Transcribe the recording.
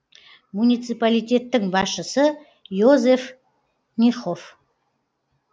муниципалитеттің басшысы йозеф нихоф